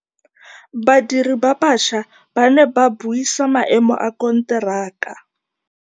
Badiri ba baša ba ne ba buisa maêmô a konteraka.